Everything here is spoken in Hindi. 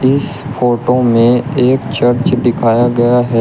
इस फोटो में एक चर्च दिखाया गया है।